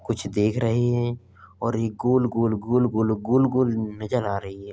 कुछ देख रहे हैं और यह गोल-गोल गोल-गोल गोल-गोल नजर आ रही है।